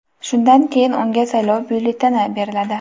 Shundan keyin unga saylov byulleteni beriladi.